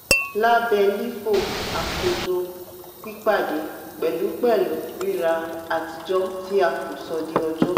lábẹ́ lifo akojo pipade pẹ̀lú pẹ̀lú rira atijọ tí a kò sọ di ọjọ.